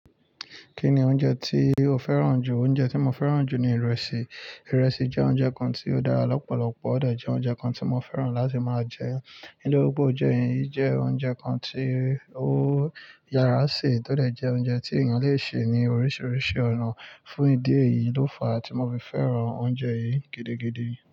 Kí ni oúnjẹ tí o fẹ́ràn jù? Oúnjẹ tí mo fẹ́ràn jù ni ìrẹsì. Ìrẹsì jẹ́ oúnjẹ kan tí ó dára lọ́pọ̀lọpọ̀ ó dẹ̀ jẹ́ oúnjẹ kan tí mo fẹ́ràn láti máa jẹ. Nítorí pé óunje yi je oúnjẹ kan tí ó yàrá sè, tó dẹ̀ jẹ́ oúnjẹ tí èèyàn le ṣe ní oríṣiríṣi ọ̀nà. Fún ìdí èyí ló fa tí mo fi fẹ́ràn oúnjẹ yìí gidigidi.